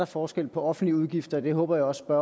forskel på offentlige udgifter det håber jeg også